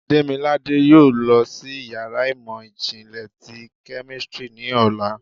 Demilade yóò lọ si ìyára imọ jinlẹ tí kemistri ni ọla.